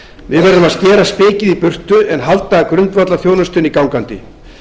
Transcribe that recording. við verðum að skera spikið í burtu en halda grundvallarþjónustunni gangandi